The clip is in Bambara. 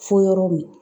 Fo yɔrɔ min